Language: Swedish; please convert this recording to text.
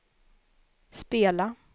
spela